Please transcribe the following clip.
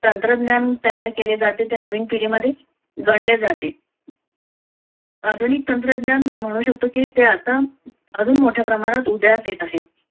तंत्रज्ञान तयार केले जाते ते नवीन पिढीमध्ये गणले जाते. आधुनिक तंत्रज्ञान म्हणू शकतो की ते आता अजून मोठ्या प्रमाणात प्रमाणात उदयास येत आहे.